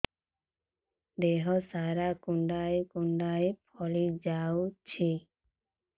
ଦେହ ସାରା କୁଣ୍ଡାଇ କୁଣ୍ଡାଇ ଫଳି ଯାଉଛି